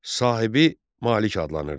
Sahibi malik adlanırdı.